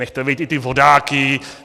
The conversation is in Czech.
Nechte bejt i ty vodáky!